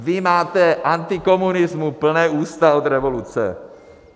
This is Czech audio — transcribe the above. Vy máte antikomunismu plná ústa od revoluce.